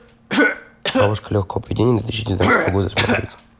бабушка легкого поведения две тысячи девятнадцатого года смотреть